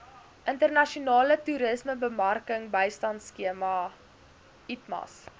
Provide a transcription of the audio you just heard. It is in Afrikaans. internasionale toerismebemarkingbystandskema itmas